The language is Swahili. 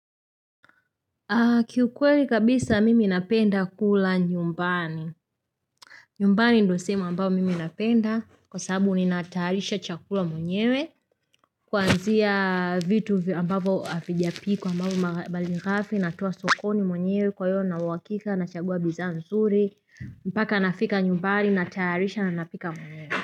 Kiukweli kabisa mimi napenda kula nyumbani. Nyumbani ndio sehemu ambayo mimi napenda kwa sababu ninatayarisha chakula mwenyewe Kuanzia vitu ambavyo havijapikwa ambapo mbalikafi natoa sokoni mwenyewe kwa hivyo Nina uhakika nachagua bidhaa nzuri mpaka nafika nyumbani natayarisha na napika mwenyewe.